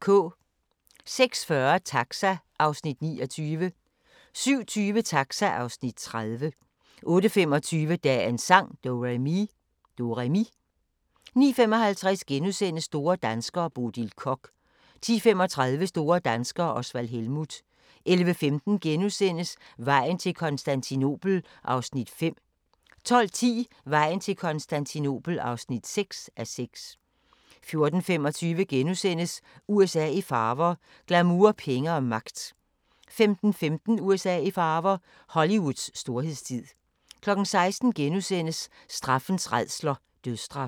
06:40: Taxa (Afs. 29) 07:20: Taxa (Afs. 30) 08:25: Dagens sang: Do-re-mi 09:55: Store danskere - Bodil Koch * 10:35: Store danskere - Osvald Helmuth 11:15: Vejen til Konstantinopel (5:6)* 12:10: Vejen til Konstantinopel (6:6) 14:25: USA i farver – glamour, penge og magt * 15:15: USA i farver – Hollywoods storhedstid 16:00: Straffens rædsler - dødsstraf *